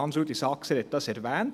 Hans-Rudolf Saxer hat es erwähnt.